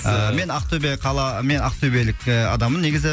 ыыы мен ақтөбе қала мен ақтөбелік і адаммын негізі